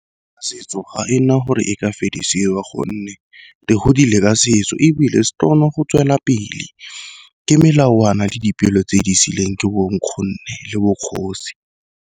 Setso ga ena gore e ka fedisiwa gonne re godile ka setso, ebile se tlo kgona go tswelela pele. Ke melawana le dipelo tse di siilweng ke bo nkgonne le bokgosi.